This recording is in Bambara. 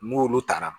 N'olu taara